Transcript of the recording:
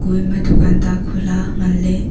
kue ema dukan ta khula ngan le.